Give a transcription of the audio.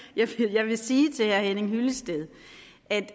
jeg vil sige til herre henning hyllested